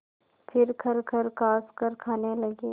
फिर खरखर खाँसकर खाने लगे